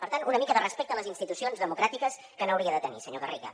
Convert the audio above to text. per tant una mica de respecte a les institucions democràtiques que n’hauria de tenir senyor garriga